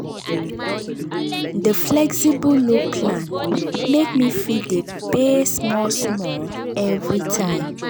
di flexible loan plan make me fit dey pay small small every time.